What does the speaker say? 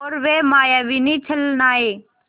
और वे मायाविनी छलनाएँ